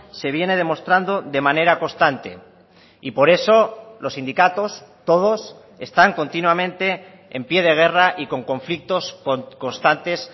se viene demostrando de manera constante y por eso los sindicatos todos están continuamente en pie de guerra y con conflictos constantes